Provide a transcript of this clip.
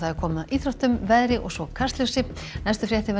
komið að íþróttum veðri og Kastljósi næstu fréttir verða í